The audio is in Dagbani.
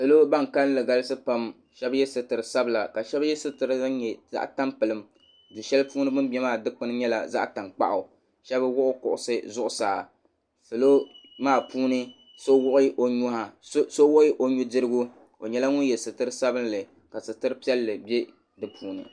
Niriba ban kalinli galisi pam shɛba yɛ sitira sabila ka shɛba yɛ sitira din nyɛ zaɣa tampilim duu shɛli puuni bi ni bɛ maa dikpuni nyɛla zaɣa tankpaɣu shɛba wuɣi kuɣusi zuɣusaa salo maa puuni so wuɣi o nuu dirigu o nyɛla ŋun yɛ sitira sabinli ka sitira piɛlli bɛ di puuni.